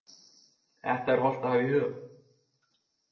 Þetta er hollt að hafa í huga.